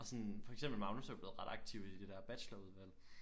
Og sådan for eksempel Magnus er blevet ret aktiv i det der bachelorudvalg